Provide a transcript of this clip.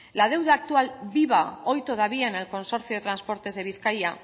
la deuda actual viva hoy todavía en el consorcio de transportes de bizkaia